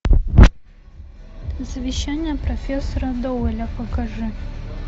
завещание профессора доуэля покажи